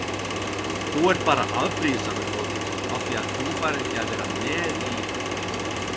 Þú ert bara afbrýðisamur góði af því að þú færð ekki að vera með í